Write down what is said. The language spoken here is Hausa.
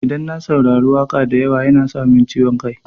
Idan na saurari waƙa da yawa yana sa min ciwon kai.